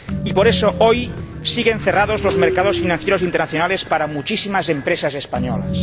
Y por eso, hoy, siguen cerrados los mercados financieros internacionales para muchísimas empresas españolas.